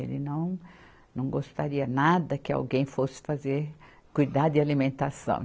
Ele não, não gostaria nada que alguém fosse fazer cuidar de alimentação.